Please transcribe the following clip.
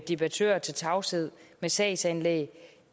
debattører til tavshed med sagsanlæg